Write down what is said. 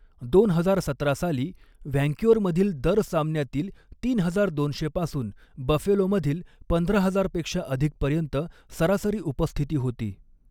दोन हजार सतरा साली, व्हँक्युअरमधील दर सामन्यातील तीन हजार दोनशे पासून बफेलोमधील पंधरा हजार पेक्षा अधिकपर्यंत सरासरी उपस्थिती होती.